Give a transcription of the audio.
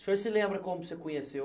O senhor se lembra como você conheceu